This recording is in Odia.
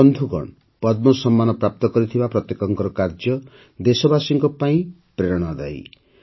ବନ୍ଧୁଗଣ ପଦ୍ମ ସମ୍ମାନ ପ୍ରାପ୍ତ କରିଥିବା ପ୍ରତ୍ୟେକଙ୍କର କାର୍ଯ୍ୟ ଦେଶବାସୀଙ୍କ ପାଇଁ ପ୍ରେରଣାଦାୟୀ